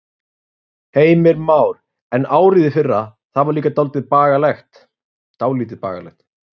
Heimir Már: En árið í fyrra, það var líka dálítið bagalegt?